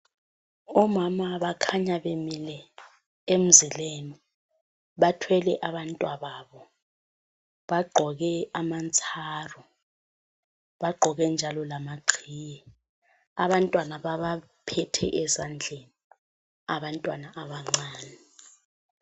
Omama bakhanya bemile emzileni bathwele abantwababo. Bagqoke amantsaru, bagqoke njalo lamaqhiye. Abantwana babaphethe ezandleni. Abantwana abancane.